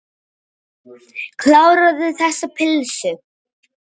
Kláraðu þessa pylsu.